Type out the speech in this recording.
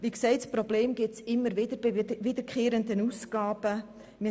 Dieses Problem gibt es bei wiederkehrenden Ausgaben immer wieder.